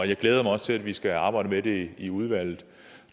jeg glæder mig også til at vi skal arbejde med det i udvalget